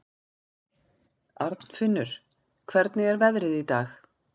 Arnfinnur, hvernig er veðrið í dag?